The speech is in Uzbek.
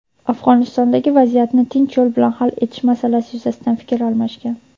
Afg‘onistondagi vaziyatni tinch yo‘l bilan hal etish masalalari yuzasidan fikr almashgan.